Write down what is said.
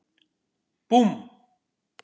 Búmm!